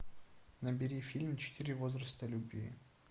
набери фильм четыре возраста любви